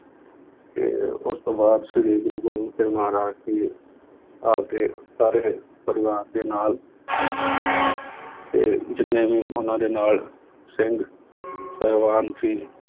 ਤੇ ਉਸ ਤੋਂ ਬਾਅਦ ਸ੍ਰੀ ਗੁਰੂ ਗੋਬਿੰਦ ਸਿੰਘ ਮਹਾਰਾਜ ਜੀ ਆਪਦੇ ਸਾਰੇ ਪਰਿਵਾਰ ਦੇ ਨਾਲ ਤੇ ਜਿੰਨੇ ਵੀ ਉਹਨਾਂ ਦੇ ਨਾਲ ਸਿੰਘ ਸਾਹਿਬਾਨ ਸੀ